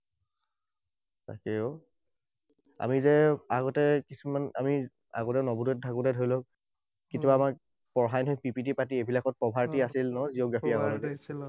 তাকেই অ। আমি যে আগতে কিছুমান আমি আগতে নৱোদয়ত থাকোতে ধৰি লওক কেতিয়াবা আমাক পঢ়ায় নহয় PPT পাতি এইবিলাকত, poverty আছিল নহয় geography